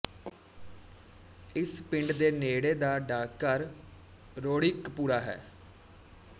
ਇਸ ਪਿੰਡ ਦੇ ਨੇੜੇ ਦਾ ਡਾਕਘਰ ਰੋੜੀਕਪੂਰਾ ਹੈ